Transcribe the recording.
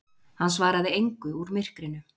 Hann svaraði engu úr myrkrinu.